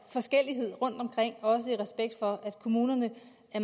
forskellighed rundt omkring også i respekt for at kommunerne